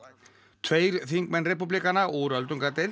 tveir þingmenn repúblikana úr öldungadeild